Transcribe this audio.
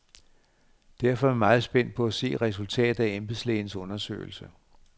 Derfor er vi meget spændt på at se resultatet af embedslægens undersøgelse.